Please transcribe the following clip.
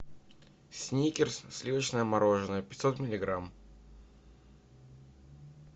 сникерс сливочное мороженое пятьсот миллиграмм